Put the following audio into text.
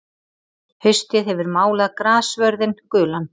Haustið hefur málað grassvörðinn gulan.